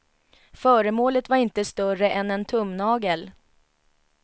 Föremålet var inte större än en tumnagel.